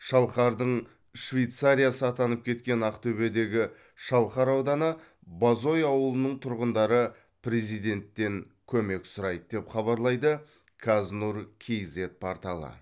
шалқардың швейцариясы атанып кеткен ақтөбедегі шалқар ауданы базой ауылының тұрғындары президенттен көмек сұрайды деп хабарлайды қаз нұр кейзэт порталы